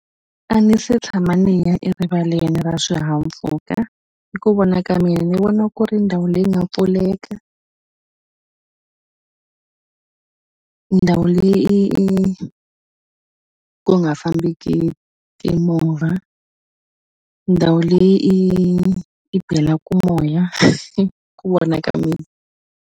A ni se tshama ni ya erivaleni ra swihahampfhuka hi ku vona ka mina ni vona ku ri ndhawu leyi nga pfuleka ndhawu leyi ku nga fambeki timovha ndhawu leyi i i belaku moya ku vona ka mina.